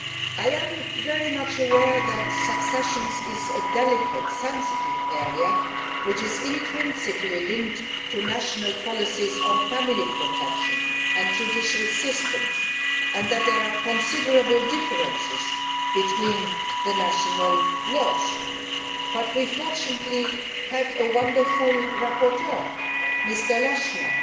I am very much aware that succession is a delicate, sensitive area which is intrinsically linked to national policies on family protection and judicial systems, and that there are considerable differences between the national laws, but fortunately we have had a wonderful rapporteur, Mr Lechner.